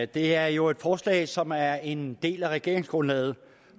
det er jo et forslag som er en del af regeringsgrundlaget